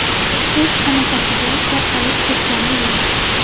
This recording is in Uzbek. Hech qanaqasiga tarqalib ketgani yo‘q.